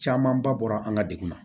Camanba bɔra an ka degun na